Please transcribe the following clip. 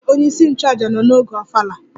Ee, onyeisi nchụaja nọ n'oge ofala